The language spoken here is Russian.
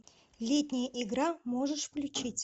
летняя игра можешь включить